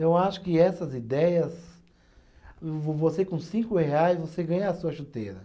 Então eu acho que essas ideias, vo você com cinco reais, você ganha a sua chuteira.